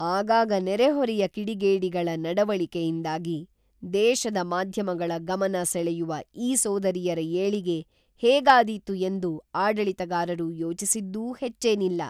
ಆಗಾಗ ನೆರೆಹೊರೆಯ ಕಿಡಿಗೇಡಿಗಳ ನಡವಳಿಕೆಯಿಂದಾಗಿ ದೇಶದ ಮಾಧ್ಯಮಗಳ ಗಮನ ಸೆಳೆಯುವ ಈ ಸೋದರಿಯರ ಏಳಿಗೆ ಹೇಗಾದೀತು ಎಂದು ಆಡಳಿತಗಾರರು ಯೋಚಿಸಿದ್ದೂ ಹೆಚ್ಚೇನಿಲ್ಲ.